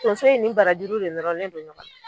tonso in ni barajuru de nɔrɔlen do ɲɔgɔn